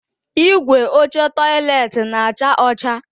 Igwe oche tọiletị na-acha ọcha